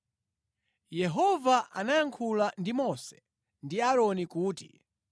Yehova anayankhula ndi Mose ndi Aaroni kuti,